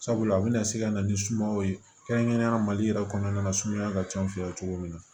Sabula a bɛna se ka na ni sumaya ye kɛrɛnkɛrɛnnenya mali yɛrɛ kɔnɔna na sumaya ka ca an fɛ yan cogo min na